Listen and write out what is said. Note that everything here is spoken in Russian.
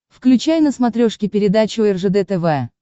включай на смотрешке передачу ржд тв